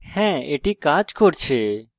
হ্যাঁ এটি কাজ করছে